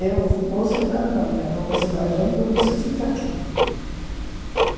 Eu vou sair da Alemanha, ou você vai junto ou você fica aqui.